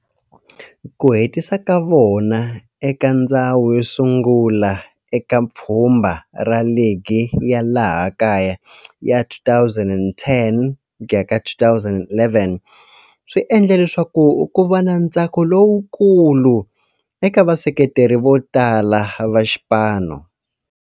Ku hetisa ka vona eka ndzhawu yo sungula eka pfhumba ra ligi ya laha kaya ya 2010 ku ya ka 2011 swi endle leswaku kuva na ntsako lowukulu eka vaseketeri votala va xipano.